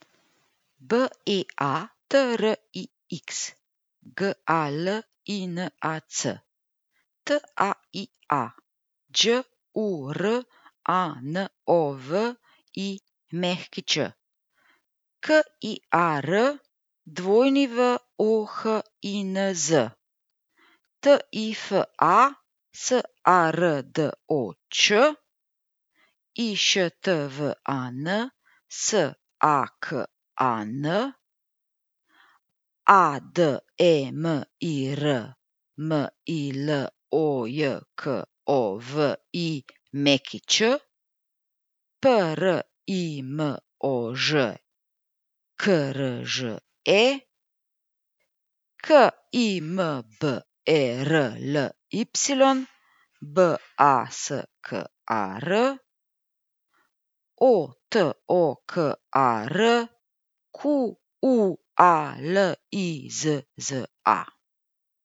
B E A T R I X, G A L I N A C; T A I A, Đ U R A N O V I Ć; K I A R, W O H I N Z; T I F A, S A R D O Č; I Š T V A N, S A K A N; A D E M I R, M I L O J K O V I Ć; P R I M O Ž, K R Ž E; K I M B E R L Y, B A S K A R; O T O K A R, Q U A L I Z Z A.